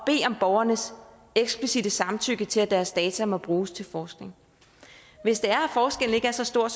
borgernes eksplicitte samtykke til at deres data må bruges til forskning hvis forskellen ikke er så stor